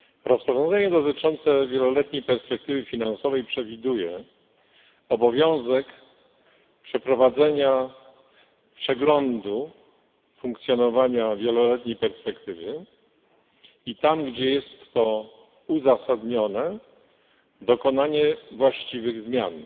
Rozporządzenie dotyczące wieloletniej perspektywy finansowej przewiduje obowiązek przeprowadzenia przeglądu funkcjonowania wieloletniej perspektywy i tam, gdzie jest to uzasadnione, dokonanie właściwych zmian.